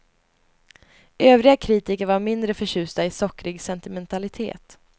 Övriga kritiker var mindre förtjusta i sockrig sentimentalitet.